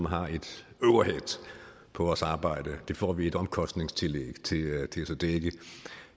har et overhead på vores arbejde det får vi et omkostningstillæg til